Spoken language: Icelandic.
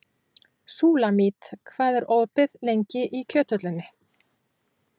Súlamít, hvað er opið lengi í Kjöthöllinni?